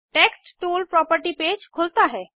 text tool property page खुलता है